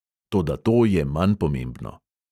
Toda to je manj pomembno.